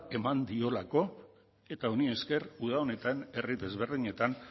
eman diolako eta honi esker uda honetan herri desberdinetan